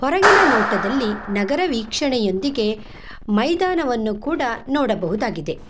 ಒಳಗಿನ ನೋಟದಲ್ಲಿ ನಗರ ವೀಕ್ಷಣೆಯೊಂದಿಗೆ ಮೈದಾನವನ್ನು ಕೂಡ ನೋಡಬಹುದಾಗಿದೆ.